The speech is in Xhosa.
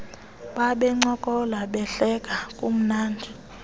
babencokola behleka kumnandi